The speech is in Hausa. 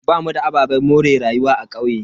Bamu da ababen more rayuwa a kauye.